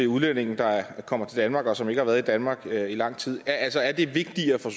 udlændinge der kommer til danmark og som ikke har været i danmark i lang tid altså er det vigtigere for